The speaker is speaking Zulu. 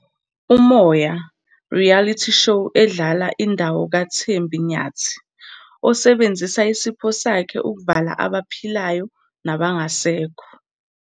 Umoya - Reality show edlala indawo kaThembi Nyathi, osebenzisa isipho sakhe ukuvala abaphilayo nabangasekho.